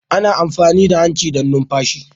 Ana amfani da hanci don numfashi